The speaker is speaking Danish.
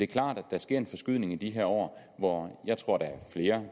klart at der sker en forskydning i de her år hvor jeg tror der